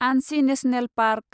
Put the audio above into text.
आनसि national park